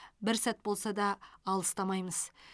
бір сәт болса да алыстамаймыз